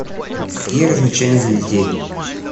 какие развлечения для детей